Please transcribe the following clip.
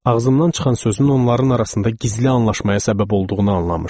Ağzımdan çıxan sözün onların arasında gizli anlaşmaya səbəb olduğunu anlamışdım.